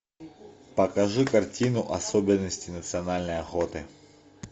покажи картину особенности национальной охоты